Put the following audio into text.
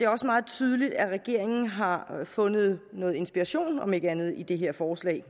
også meget tydeligt at regeringen har fundet noget inspiration om ikke andet i det her forslag